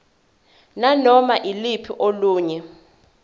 nanoma yiluphi olunye